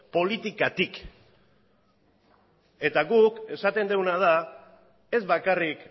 politikatik eta guk esaten duguna da ez bakarrik